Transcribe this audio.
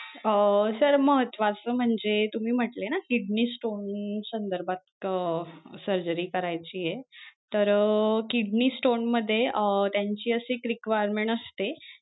अं sir महत्वाचं म्हणजे तुम्ही म्हंटले ना kidney stone संधर्भात अं surgery करायचीये तर अं kidney stone मध्ये अं त्यांची अशी एक requirement असते,